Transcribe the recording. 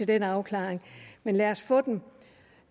den afklaring men lad os få den